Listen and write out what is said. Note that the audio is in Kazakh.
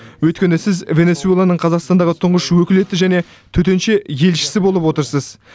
өйткені сіз венесуэланың қазақстандағы тұңғыш өкілетті және төтенше елшісі болып отырсыз